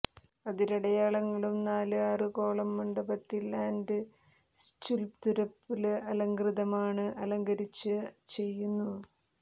അതിരടയാളങ്ങളും നാലു ആറ് കോളം മണ്ഡപത്തിൽ ആൻഡ് സ്ചുല്പ്തുരല് അലംകൃതമാണ് അലങ്കരിച്ച ചെയ്യുന്നു